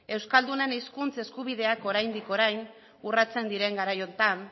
euskaldunen hizkuntza eskubidea oraindik orain urratsen diren garai honetan